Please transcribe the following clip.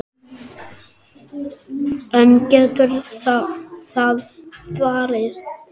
En getur það varist?